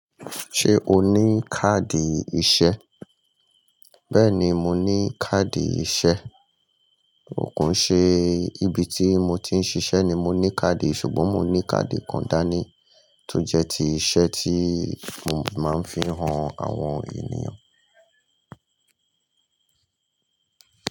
Ṣé o ní káàdì iṣẹ́? Bẹ́ẹ̀ni, mo ní káàdì iṣẹ́. Kiise ibi tí mo ti ń ṣiṣẹ́ ni mo ní káàdì. Ṣùgbọ́n mo ní káàdì kan dání tó jẹ́ ti iṣẹ́ tí mo máa ń fi han àwọn ènìyàn.